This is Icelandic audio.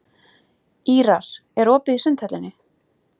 Ýrar, er opið í Sundhöllinni?